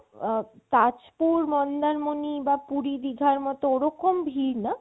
আ~ তাজপুর, মন্দারমণি, পুরি-দিঘার মতো ওরকম ভিড় না